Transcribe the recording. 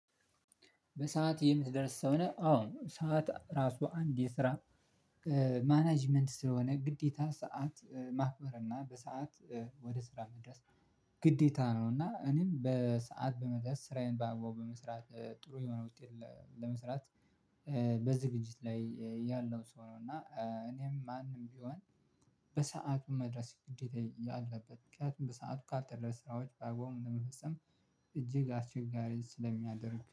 በሰአት የምትደርስ ሰው ነህ? አዎ። ሰዓት ራሱ አንድ የስራ ማኔጅመንት ስለሆነ ግዴታ ሰዓት ማክበርና በሰአት ወደሥራ መድረስ ግዴታ ነውና እኔም በሰአት በመድረስ ስራዬን ባግባቡ በመስራት ጥሩ የሆነ ውጤት ለመስራት በዝግጅት ላይ ያለው ሰው ነው። እና እኔም ማንም ቢሆን በሰአቱ መድረስ ግዴታ ያለበት ምክንያቱም በሰአቱ ካልደረሰ ስራዎች በአግባቡ ለመፈጸም እጅግ አስቸጋሪ ስለሚያደርግ